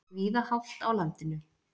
Víða hált á landinu